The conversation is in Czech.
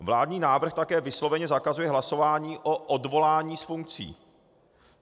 Vládní návrh také vysloveně zakazuje hlasování o odvolání z funkcí.